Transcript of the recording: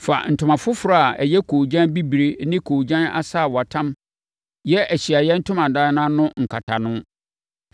“Fa ntoma foforɔ a ɛyɛ koogyan bibire ne koogyan asaawatam yɛ Ahyiaeɛ Ntomadan no ano nkatano.